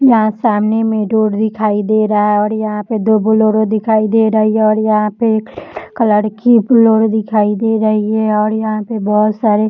यहाँ सामने में रोड दिखाई दे रहा है और यहाँ पे दो बोलेरो दिखाई दे रही हैं और यहाँ पे एक कलर की बोलेरो दिखाई दे रही है और यहाँ पे बहुत सारे --